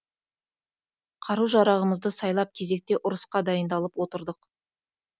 қару жарағымызды сайлап кезекті ұрысқа дайындалып отырдық